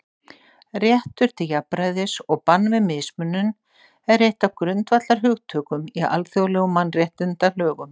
Réttur til jafnræðis og bann við mismunun er eitt af grundvallarhugtökum í alþjóðlegum mannréttindalögum.